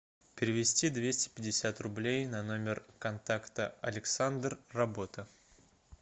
перевести двести пятьдесят рублей на номер контакта александр работа